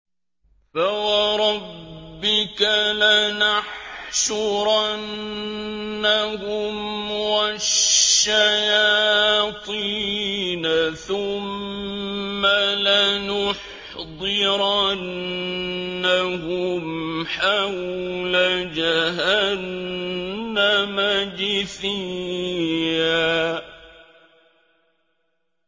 فَوَرَبِّكَ لَنَحْشُرَنَّهُمْ وَالشَّيَاطِينَ ثُمَّ لَنُحْضِرَنَّهُمْ حَوْلَ جَهَنَّمَ جِثِيًّا